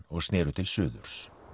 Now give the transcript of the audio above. og sneru til suðurs